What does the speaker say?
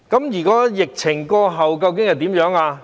疫情過後究竟會怎樣？